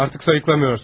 Artıq sayıqlamırsan.